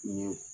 Ni